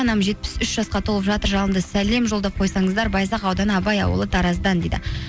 анам жетпіс үш жасқа толып жатыр жалынды сәлем жолдап қойсаңыздар байзақ ауданы абай ауылы тараздан дейді